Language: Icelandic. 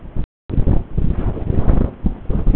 Þau ljómuðu af hamingju yfir þessum dásamlega tengdasyni.